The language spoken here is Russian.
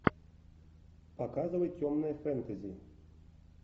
показывай темное фэнтези